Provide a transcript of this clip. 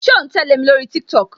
Ṣé o ń tẹle mi lórí TikTok?